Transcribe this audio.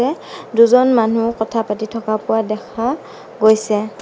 দুজন মানুহ কথা পাতি থকা পোৱা দেখা গৈছে।